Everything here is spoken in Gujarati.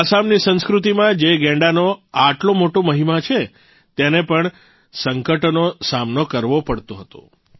આસામની સંસ્કૃતિમાં જે ગૈંડાનો આટલો મોટો મહિમા છે તેને પણ સંકટોનો સામનો કરવો પડતો હતો